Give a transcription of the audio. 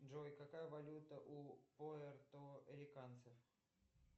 джой какая валюта у пуэрториканцев